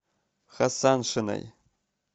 хасаншиной